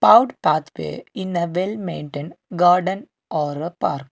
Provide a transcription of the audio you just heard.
pathway in a well maintained garden or a park.